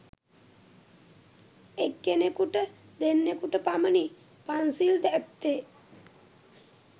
එක් කෙනෙකුට දෙන්නකුට පමණි පන්සිල් ඇත්තේ.